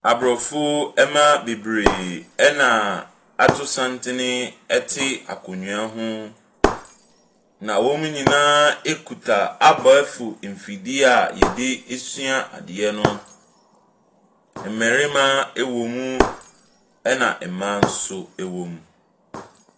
Aborɔfoɔ mmaa bebree na ato santene te akonnwa ho, na wɔn nyinaa kita abɛɛfo mfidie a yɛde sua adeɛ no. mmarima wɔ mu, na mmaa nso wɔ mu.